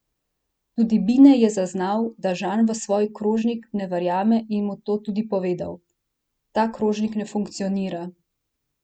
Tudi Bine je zaznal, da Žan v svoj krožnik ne verjame in mu to tudi povedal: 'Ta krožnik ne funkcionira'.